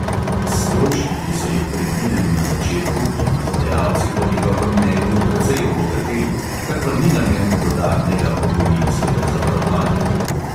S stroški, ki so jih predvideli na začetku, bi izvajalci po njegovem mnenju precej obogateli, kar pa ni namen dodatnega pokojninskega zavarovanja.